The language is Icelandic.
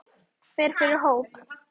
Fer fyrir hóp.